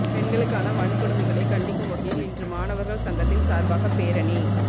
பெண்களுக்கான வன்கொடுமைகளை கண்டிக்கும் வகையில் இன்று மாணவர்கள் சங்கத்தின் சார்பாக பேரணி